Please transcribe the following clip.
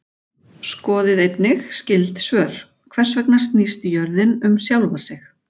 Skoðið einnig skyld svör: Hvers vegna snýst jörðin um sjálfa sig?